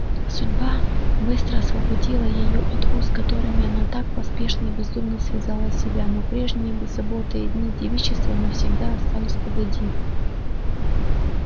судьба быстро освободила её от уз которыми она так поспешно и бездумно связала себя но прежние беззаботные дни девичества навсегда остались позади